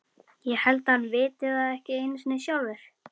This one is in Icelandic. Ég held að hann viti það ekki einu sinni sjálfur.